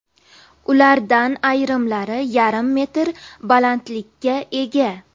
Ulardan ayrimlari yarim metr balandlikka ega.